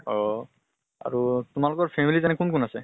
অহ্হ । আৰু তোমালোকৰ family ত এনেই কোন কোন আছে ?